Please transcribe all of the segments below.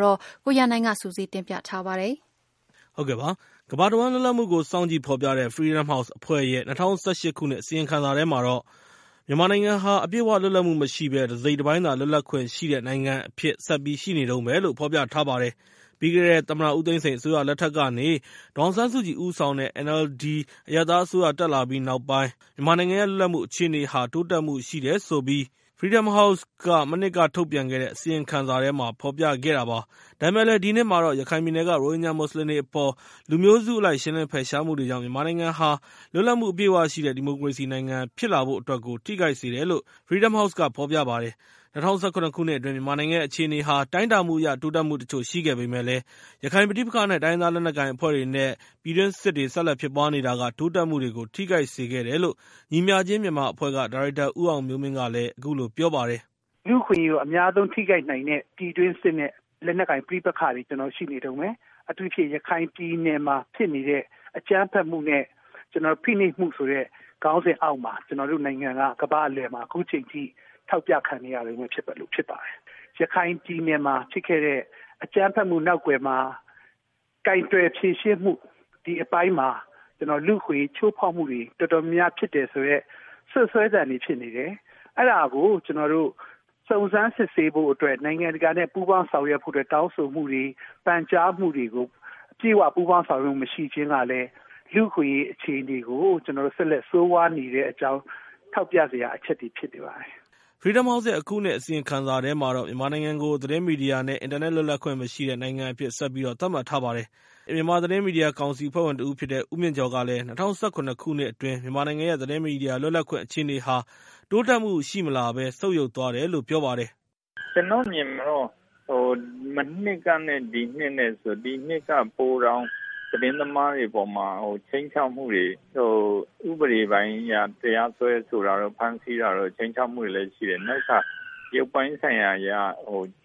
ကို ကိုရန်နိုင်က ပြောပြပေးမှာဖြစ်ပါတယ်။ ကမ္ဘာတဝှမ်းလွတ်လပ်မှုတွေကိုစောင့်ကြည့်ဖော်ပြတဲ့ Freedom House အဖွဲ့ရဲ့ ၂၀၁၈ ခုနှစ်အစီရင်ခံစာထဲမှာတော့ မြန်မာနိုင်ငံရဲ့ လွတ်လပ်မှု အခြေအနေဟာ အပြည့်အဝလွတ်လပ်မှုမရှိဘဲ တစိတ်တပိုင်းသာလွတ်လပ်ခွင့်ရှိတဲ့ နိုင်ငံအဖြစ်နဲ့ ဆက်ပြီးရှိနေတုန်းပဲလို့ ဖော်ပြထားပါတယ် ပြီးခဲ့တဲ့ သမ္မတဦးသိန်းစိန်အစိုးရလက်ထက်ကနေ ဒေါ်အောင်ဆန်းစုကြည်ဦးဆောင်တဲ့ NLD အရပ်သားအစိုးရ တက်လာပြီးနောက်ပိုင်း မူဝါဒပိုင်းဆိုင်ရာအပြောင်းအလဲတွေကြောင့် မြန်မာနိုင်ငံရဲ့ လွတ်လပ်မှုဟာ တိုးတက်မှုရှိခဲ့တယ်လို့ Freedom House ရဲ့ မနှစ်က အစီရင်ခံစာမှာဖော်ပြခဲ့တာပါ။ ဒါပေမဲ့လည်း ဒီနှစ်မှာတော့ ရခိုင်ပြည်နယ်က ရိုဟင်ဂျာမွတ်စလင်တွေအပေါ်မှာ လူမျိုးစုအလိုက်ရှင်းလင်းဖယ်ရှားမှုတွေကြောင့် မြန်မာနိုင်ငံဟာ လွတ်လပ်မှု အပြည့်အဝရှိတဲ့ ဒီမိုကရေစီနိုင်ငံဖြစ်လာဖို့အတွက်ကို ထိခိုက်စေတယ်လို့ Freedom House ရဲ့ အစီရင်ခံစာထဲမှာ ပြောပါတယ်။ ၂၀၁၇ ခုနှစ်အတွင်း မြန်မာနိုင်ငံရဲ့ အခြေအနေဟာ တိုင်းတာမှုအရ တိုးတက်မှုတချို့ရှိခဲ့ပေမယ့်လည်း ရခိုင်ပဋိပက္ခ နဲ့ တိုင်းရင်းသားလက်နက်ကိုင်အဖွဲ့တွေ ပြည်တွင်းစစ်တွေ ဆက်လက်ဖြစ်ပွားနေတာက တိုးတက်မှုတွေကို ထိခိုက်စေခဲ့တယ်လို့ ညီမျှခြင်းမြန်မာအဖွဲ့က ဒါရိုက်တာ ဦးအောင်မျိုးမင်းက အခုလိုပြောပါတယ်။ “လူ့အခွင့်အရေးကို အများဆုံးထိခိုက်နိုင်တဲ့ ပြည်တွင်းစစ်နဲ့ လက်နက်ကိုင် ပဋိပက္ခတွေကျနော်တို့မှာ ရှိနေတုန်းပဲ။ အထူးသဖြင့် ရခိုင်ပြည်နယ်မှာ ဖြစ်နေတဲ့ အကြမ်းဖက်မှုမျိုး နဲ့ ဖိနှိပ်မှုဆိုတဲ့ ခေါင်းစဉ်အောက်မှာ ကျနော်တို့နိုင်ငံက ကမ္ဘာ့အလည်မှာ အခုအချိန်အထိ ထောက်ပြခံနေရတုန်းပဲ ဖြစ်ပါတယ်။ ရခိုင်ပြည်နယ်မှာ ဖြစ်ခဲ့တဲ့ အကြမ်းဖက်မှုနောက်ကွယ်မှာ ကိုင်တွယ်ဖြေရှင်းမူ ဒီအပိုင်းမှာ ကျနော်တို့ လူ့အခွင့်အရေးချိုးဖောက်မှုတွေ တော်တော်များများဖြစ်တယ်ဆိုတဲ့ စွပ်စွဲသံတွေဖြစ်နေတယ်။ အဲဒါကို ကျနေ်ာတို့ စုံစမ်းစစ်ဆေးဖို့အတွက် နိုင်ငံတကာနဲ့ ပူးပေါင်းဆောင်ရွက်ဖို့အတွက် တောင်းဆိုမှုတွေ ပန်ကြားမှုတွေကို အပြည့်အဝပူးပေါင်း ဆောင်ရွက်ခြင်းမရှိတာကလည်း လူ့အခွင့်အရေးအခြေအနေကို ကျနော်တို့ ဆက်လက်ဆိုးဝါးနေတဲ့အကြောင်း ကျနော်တို့ ထောက်ပြစရာအချက်တွေ ဖြစ်နေပါတယ်။” Freedom House ရဲ့ အခုနှစ်အစီရင်ခံစာမှာ မြန်မာနိုင်ငံကို သတင်းမီဒီယာ နဲ့ အင်တာနက် လွတ်လပ်ခွင့်မရှိတဲ့နိုင်ငံအဖြစ်နဲ့ ဆက်ပြီးတော့ သတ်မှတ်ထားပါတယ်။ မြန်မာသတင်းမီဒီယာကောင်စီအဖွဲ့ဝင်တဦးဖြစ်တဲ့ ဦးမြင့်ကျော်ကလည်း ၂၀၁၇ ခုနှစ်အတွင်း မြန်မာနိုင်ငံရဲ့ သတင်းမီဒီယာလွတ်လပ်ခွင့်အခြေအနေဟာ တိုးတက်မှုမရှိလာဘဲ ဆုတ်ယုတ်သွားတယ်လို့ ပြောပါတယ်။ “ကျနော့်အမြင်မှာတော့ မနှစ်ကနဲ့ ဒီနှစ် ဆိုရင် ဒီနှစ်က ပိုတောင်သတင်းသမားတွေအပေါ်မှာ ခြိမ်းခြောက်မှုတွေ ၊ ဥပဒေပိုင်းအရ တရားစွဲဆိုတာတွေ ဖမ်းဆီး ခြိမ်းခြောက်မှုတွေလည်းရှိတယ်။ နောက်တခါ ရုပ်ပိုင်းဆိုင်ရာအရ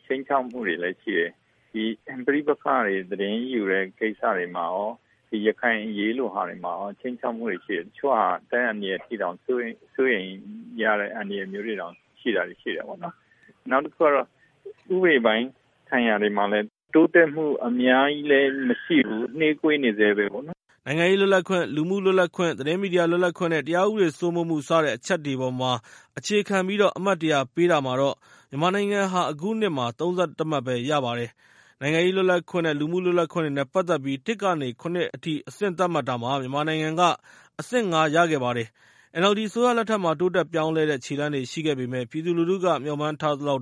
ခြိမ်းခြောက်မှုတွေလည်းရှိတယ်။ ဒီပဋိပက္ခတွေ သတင်းယူတဲ့ ကိစ္စတွေမှာ ဒီရခိုင်အရေးလိုဟာတွေမှာ ခြိမ်းခြောက်မှုတွေရှိတယ်။ တချို့ဟာ အသက်အန္တရာယ်အထိအောင် စိုးရိမ်ရတဲ့ အန္တရာယ်မျိုးတွေတောင် ရှိတယ်ပေါ့နော်။ နောက်တခုကတော့ ဥပဒေပိုင်းဆိုင်ရာတွေမှာလည်း တိုးတက်မှုတွေကတော့ အများကြီးလည်းမရှိဘူး။ နှေးကွေးနေဆဲပဲပေါ့နော်။” နိုင်ငံရေးလွတ်လပ်ခွင့်၊ လူမှုလွတ်လပ်ခွင့်၊ သတင်းမီဒီယာလွတ်လပ်ခွင့်၊ တရားဥပဒေစိုးမိုးမှု စတဲ့အချက်တွေအပေါ်မှာ အခြေခံပြီး အမှတ် ၁၀၀ ပေးတာမှာ မြန်မာနိုင်ငံက အခုနှစ်မှာ ၃၁ မှတ်ပဲ ရခဲ့ပါတယ်။ နိုင်ငံရေးလွတ်လပ်ခွင့် နဲ့ လူမှုလွတ်လပ်ခွင့်နဲ့ ပတ်သက်ပြီး ၁ ကနေ ၇ အထိသတ်မှတ်တာမှာ မြန်မာနိုင်ငံက အဆင့် ၅ ပဲ ရခဲ့ပါတယ်။ NLD အစိုးရလက်ထက်မှာ တိုးတက်ပြောင်းလဲတဲ့ ခြေလှမ်းတွေရှိခဲ့ပေမယ့်၊ ပြည်သူလူထုက မျှော်မှန်းထားသလောက်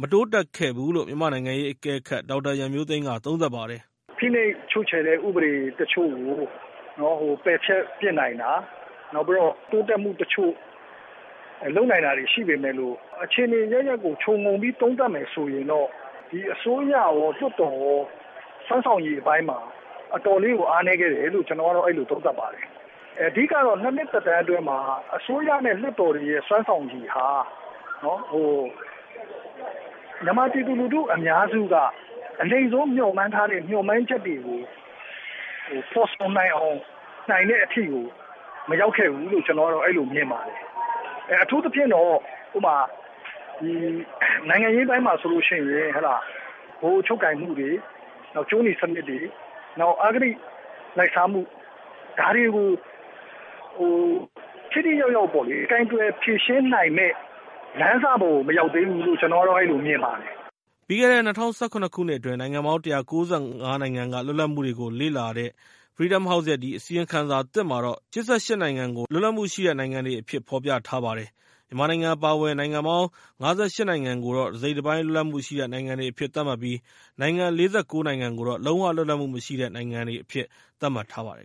မတိုးတက်ခဲ့ဘူးလို့ မြန်မာနိုင်ငံရေးအကဲခတ် ဒေါက်တာရန်မျိုးသိမ်းက သုံးသပ်ပါတယ်။ “ဖိနှိပ်ချုပ်ချယ်တဲ့ ဥပဒေတချို့ကို ပယ်ဖျက်နိုင်တာ နောက်ပြီးတော့ တိုးတက်မှုတချို့ လုပ်နိုင်တာတွေရှိပေမယ့်လို့ အခြေအနေအရပ်ရပ်ကို ခြုံပြီးတော့ သုံးသပ်မယ်ဆိုရင် ဒီအစိုးရရော လွှတ်တော်ရော စွမ်းဆောင်ရည်အပိုင်းမှာ တော်တော်လေးကို အားနည်းခဲ့တယ်လို့ ကျနေ်ာအဲလိုသုံးသပ်ပါတယ်။ အဓိကတော့ ၂ နှစ် သက်တမ်းအတွင်းမှာ အစိုးရနဲ့ လွှတ်တော်တွေရဲ့ စွမ်းဆောင်ရည်ဟာ မြန်မာပြည်သူလူထုအများစုက အနိမ့်ဆုံးမျှော်မှန်းထားတဲ့ မျှော်မှန်းချက်တွေကို ဖော်ဆောင်နိုင်တဲ့အထိကို မရောက်ခဲ့ဘူးလို့ မြင်ပါတယ်။ အထူးသဖြင့်တော့ နိုင်ငံရေးပိုင်းမှာ ဆိုရင် ဗဟိုချုပ်ကိုင်မှုတွေ ကြိုးနီစနစ်တွေ ၊ နောက် အဂတိလိုက်စားမှု ဒါတွေကို ထိထိရောက်ရောက်ပေါ့လေ ကိုင်တွယ်ဖြေရှင်းနိုင်မယ့်လမ်းစကို မရောက်သေးဘူးလို့ ကျနော်မြင်ပါတယ်။” ပြီးခဲ့တဲ့ ၂၀၁၇ ခုနှစ်အတွင်း နိုင်ငံပေါင်း ၁၉၅ နိုင်ငံက လွတ်လပ်မှုတွေကိုလေ့လာထားတဲ့ Freedom House ရဲ့ အစီရင်ခံစာသစ်မှာတော့ နိုင်ငံ ၈၈ နိုင်ငံကို လွတ်လပ်မှုရှိတဲ့နိုင်ငံတွေအဖြစ် ဖော်ပြထားပါတယ်။ မြန်မာနိုင်ငံ အပါအဝင် နိုင်ငံပေါင်း ၅၈ နိုင်ငံကိုတော့ တစိတ်တပိုင်း လွတ်လပ်မှုရှိတဲ့ နိုင်ငံ တွေအဖြစ် သတ်မှတ်ပြီး နိုင်ငံပေါင်း ၄၉ နိုင်ငံကိုတော့ လုံး၀ လွတ်လပ်မှု မရှိတဲ့ နိုင်ငံအဖြစ် သတ်မှတ်ထားပါတယ်